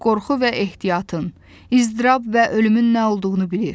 Qorxu və ehtiyatın, ızdırap və ölümün nə olduğunu bilir.